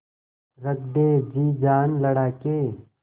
रख दे जी जान लड़ा के